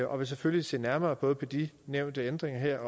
og vil selvfølgelig se nærmere både på de nævnte ændringer her